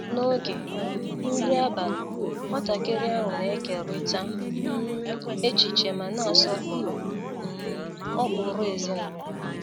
N’oge um nri abalị, nwatakịrị ahụ na-ekeriita um echiche ma na-asọpụrụ um ụkpụrụ ezinụlọ.